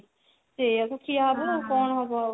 ସେଇଆ କୁ ଖିଆହେବା ଆଉ କଣ ହବ ଆଉ